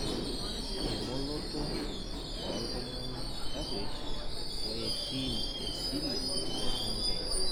Eng'oloto oltung'ana taruesh oeetim esile te Tanzania